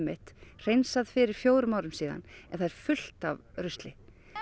hreinsað fyrir fjórum árum en það er fullt af rusli